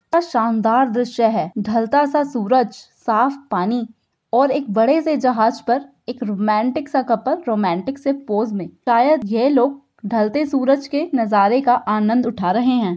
हया शानदार दर्स्य है ढलतासा सूरज साफ़ पानी ओ एक बड़े से जाहज पर एक रोमांटिक सा कपल रोमांटिक से पोज सायद ये लोग ढलते सूरज नज़ारे के आनद उठा रहे हैं।